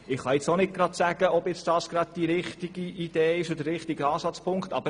Ich kann jetzt auch nicht sagen, ob das gerade der richtige Ansatzpunkt ist.